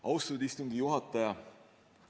Austatud istungi juhataja!